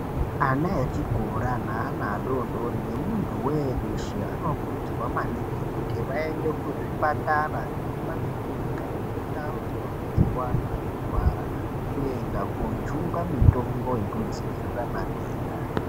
Ana echikora ne ana adodori ne muntu weshe ano kurudzirwa maningi kuti vaende ku zvipatara neku makirinika neku ndau dzino betserwa anhu anorwara ku enda ko jungwa mutombo yeku dzivirira matenda.